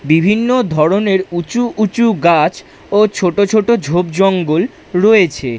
বিভিন্ন ধরনের উঁচু উঁচু গাছ ও ছোট ছোট ঝোপজঙ্গল রয়েছে।